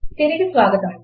తిరిగి స్వాగతం